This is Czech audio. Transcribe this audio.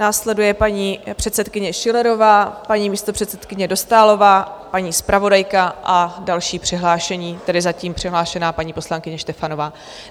Následují paní předsedkyně Schillerová, paní místopředsedkyně Dostálová, paní zpravodajka a další přihlášení, tedy zatím přihlášená paní poslankyně Štefanová.